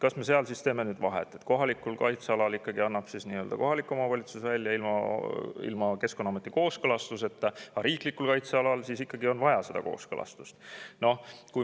Kas me seal siis teeme vahet, et kohalikul kaitsealal annab kohalik omavalitsus loa välja ilma Keskkonnaameti kooskõlastuseta, aga riiklikul kaitsealal on ikkagi vaja kooskõlastust?